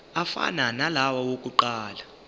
afana nalawo awokuqala